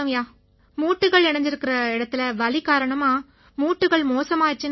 மூட்டுக்கள் இணைஞ்சிருக்கற இடத்தில வலி காரணமா மூட்டுக்கள் மோசமாயிருச்சுன்னாங்க